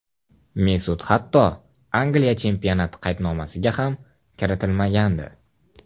Mesut hatto Angliya chempionati qaydnomasiga ham kiritilmagandi.